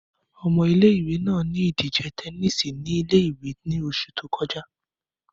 Ọmọ ìle-ìwe naa ni idije tẹníìsì ni ìle-ìwe ni oṣu to kọja.